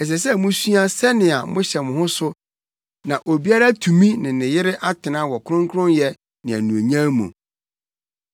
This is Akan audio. Ɛsɛ sɛ musua sɛnea mohyɛ mo ho so na obiara atumi ne ne yere atena wɔ kronkronyɛ ne anuonyam mu.